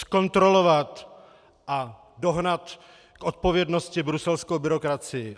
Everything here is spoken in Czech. Zkontrolovat a dohnat k odpovědnosti bruselskou byrokracii!